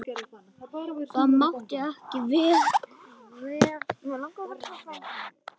Það mátti ekki verða.